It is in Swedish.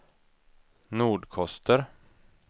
Nordkoster